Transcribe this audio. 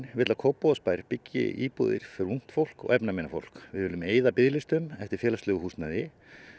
vill að Kópavogsbær byggi íbúðir fyrir ungt fólk og efnaminna fólk við viljum eyða biðlistum eftir félagslegu húsnæði